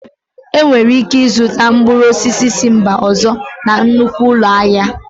Enwere ike ịzụta mkpụrụ osisi si mba ọzọ na nnukwu ụlọ ahịa